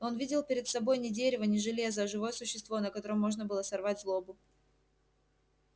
он видел перед собой не дерево не железо а живое существо на котором можно было сорвать злобу